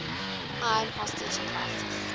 iran hostage crisis